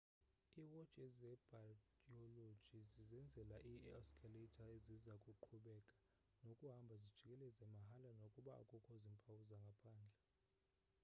iiwotshi zebhayoloji zizenzela ii-oscillator eziza kuqhubeka nokuhamba zijikeleza mahala nokuba akukho zimpawu zangaphandle